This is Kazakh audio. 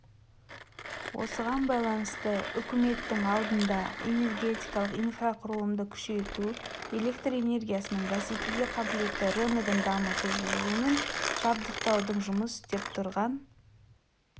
осыған байланысты үкіметтің алдында энергетикалық инфрақұрылымды күшейту электр энергиясының бәсекеге қабылетті рыногын дамыту жылумен жабдықтаудың жұмыс істеп тұрған